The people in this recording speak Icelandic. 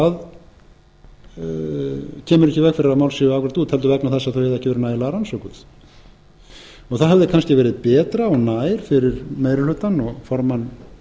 að þau eru ekki nægilega rannsökuð það hefði kannski verið betra og nær fyrir meiri hlutann og formann